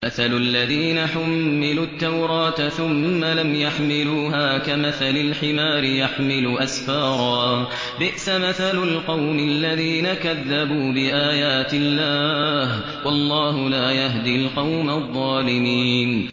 مَثَلُ الَّذِينَ حُمِّلُوا التَّوْرَاةَ ثُمَّ لَمْ يَحْمِلُوهَا كَمَثَلِ الْحِمَارِ يَحْمِلُ أَسْفَارًا ۚ بِئْسَ مَثَلُ الْقَوْمِ الَّذِينَ كَذَّبُوا بِآيَاتِ اللَّهِ ۚ وَاللَّهُ لَا يَهْدِي الْقَوْمَ الظَّالِمِينَ